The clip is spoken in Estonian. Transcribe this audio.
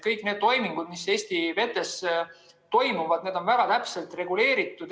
Kõik need toimingud, mis Eesti vetes toimuvad, on väga täpselt reguleeritud.